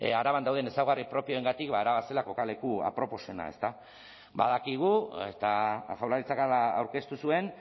araban dauden ezaugarri propioagatik ba araba zela kokaleku aproposena ezta badakigu eta jaurlaritzak hala aurkeztu zuen